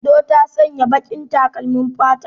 Indo ta saya baƙin takalmin fata.